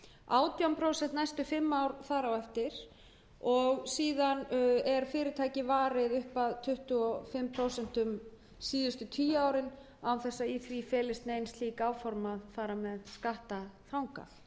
átján prósent næstu fimm ár þar á eftir og síðan er fyrirtækið varið upp að tuttugu og fimm prósent síðustu tíu árin án þess að í því felist nein áform um að fara með